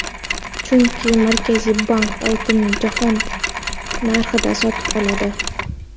Chunki Markaziy bank oltinni jahon narxida sotib oladi.